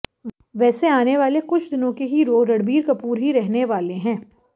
वैसे आने वाले कुछ दिनों के हीरो रणबीर कपूर ही रहने वाले हैं